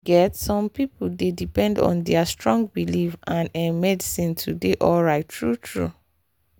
you get some people dey depend on their strong belief and ehh medicine to dey alright true-true